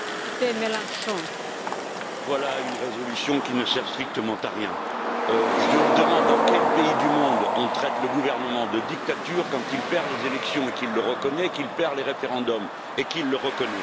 Madame la Présidente, voilà une résolution qui ne sert strictement à rien. Je me demande dans quel pays du monde on traite le gouvernement de dictature quand il perd les élections et qu'il le reconnaît, quand il perd les référendums et qu'il le reconnaît.